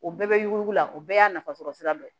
O bɛɛ bɛ yuguyugula o bɛɛ y'a nafasɔrɔ sira dɔ ye